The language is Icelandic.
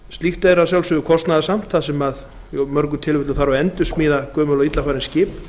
slíkt er kostnaðarsamt þar sem meðal annars þarf að endursmíða gömul og illa farin skip